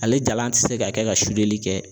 Ale jalan ti se ka kɛ ka li kɛ